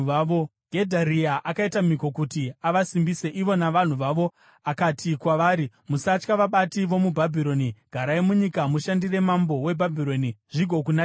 Gedharia akaita mhiko kuti avasimbise, ivo navanhu vavo. Akati kwavari, “Musatya vabati vomuBhabhironi. Garai munyika mushandire mambo weBhabhironi zvigokunakirai.”